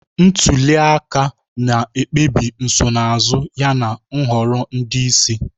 Ntuli aka na-ekpebi nsonaazụ yana nhọrọ ndị isi.